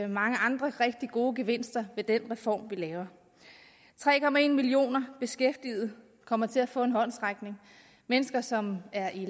mange andre rigtige gode gevinster ved den reform vi laver tre millioner beskæftigede kommer til at få en håndsrækning mennesker som er i